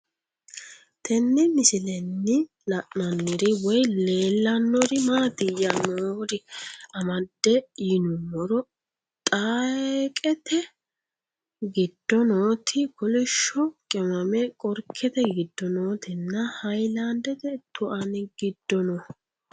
Tenne misilenni la'nanniri woy leellannori maattiya noori amadde yinummoro xeeqette giddo nootti kolishsho qimmame qorikkette giddo noottinna hayiilandette tuanni giddo noo